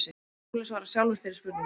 Skúli svarar sjálfur þeirri spurningu.